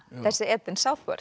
þessi Eden